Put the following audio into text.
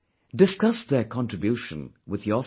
Discuss their contribution with your family